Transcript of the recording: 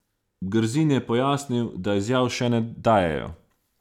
Grzin je pojasnil, da izjav še ne dajejo.